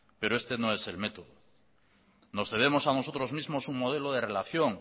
pero este no es el método nos debemos a nosotros mismo un modelo de relación